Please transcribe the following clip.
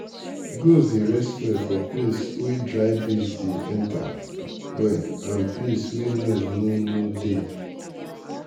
goat dey rest well for place wey drycleanbreeze dey enter well and place wey noise no no dey.